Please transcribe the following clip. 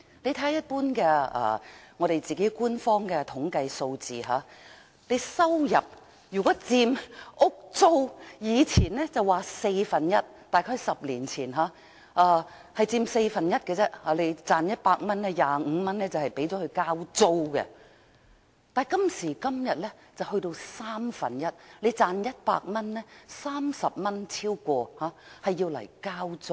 看看官方的統計數字，以前說房租佔收入的四分之一，即是在10年前，如果你賺取100元，便有25元用作交租；但今時今日則佔三分之一，如果你賺取100元，便有超過30元用作交租。